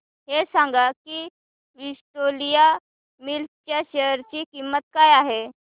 हे सांगा की विक्टोरिया मिल्स च्या शेअर ची किंमत काय आहे